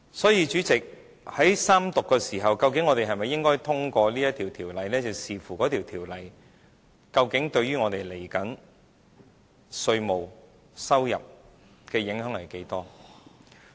所以，主席，在三讀階段，究竟我們是否應該通過《條例草案》，視乎《條例草案》對於我們稍後稅務收入的影響有多少。